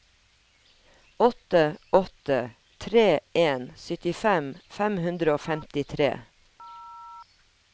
åtte åtte tre en syttifem fem hundre og femtitre